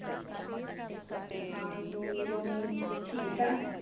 ਹਾਂਜੀ ਰੋਮੀ ਠੀਕ ਏ